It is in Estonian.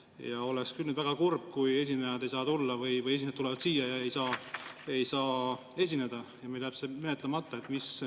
Ja oleks küll väga kurb, kui esinejad ei saa tulla või kui esinejad tulevad siia, aga ei saa esineda, ja meil jääb see menetlemata.